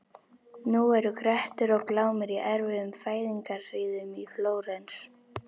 Nú eru Grettir og Glámur í erfiðum fæðingarhríðum í Flórens.